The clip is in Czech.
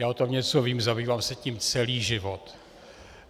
Já o tom něco vím, zabývám se tím celý život.